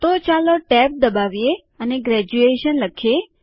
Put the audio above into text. તો ચાલો ટેબ દબાવીએ અને ગ્રેજ્યુએશન લખીએ